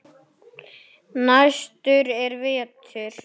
Næstur er Vetur.